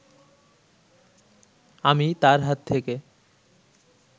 আমি তাঁর হাত থেকে